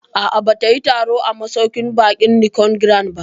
A'a, ba ta yi taro a masauƙin baƙin Nicon Grand ba